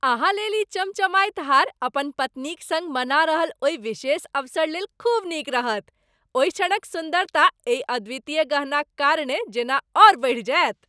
अहाँ लेल ई चमचमाइत हार अपन पत्नीक सङ्ग मना रहल ओहि विशेष अवसरलेल खूब नीक रहत। ओहि क्षणक सुन्दरता एहि अद्वितीय गहनाक कारणे जेना आओर बढ़ि जायत।